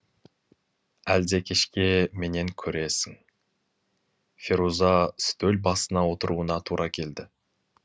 әлде кешке менен көресің феруза стөл басына отыруына тура келді